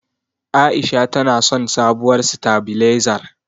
A'isha tana son sabuwar sitabilezar.